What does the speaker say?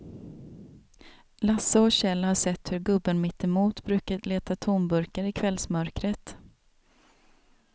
Lasse och Kjell har sett hur gubben mittemot brukar leta tomburkar i kvällsmörkret.